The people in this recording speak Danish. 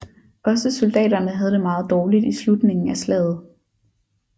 Også soldaterne havde det meget dårligt i slutningen af slaget